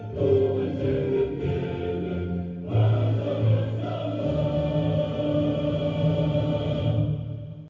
туған жерім менің қазақстаным